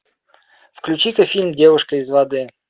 включи ка фильм девушка из воды